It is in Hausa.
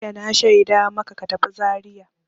Jiya na shaida maka ka tafi Zariya!